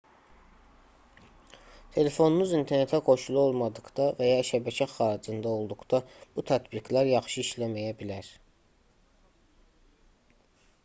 telefonunuz internetə qoşulu olmadıqda və ya şəbəkə xaricində olduqda bu tətbiqlər yaxşı işləməyə bilər